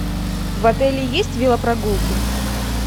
в отеле есть велопрогулки